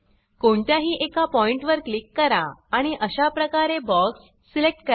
कोणत्याही एका पॉइंट वर क्लिक करा आणि अशा प्रकारे बॉक्स सिलेक्ट करा